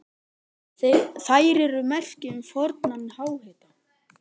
Þær eru merki um fornan háhita.